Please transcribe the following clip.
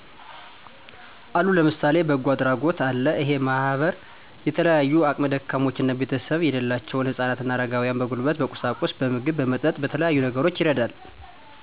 አሉ ለምሳሌ በጎ አድራጎት አለ እሄ ማህበር የተለያዩ አቅም ደካሞችና ቤተሰብ የሌላቸውን ህጻናት አረጋውያን በጉልበት በቁሳቁስ በምግብ በመጠጥ በተለያዩ ነገሮች ይረዳል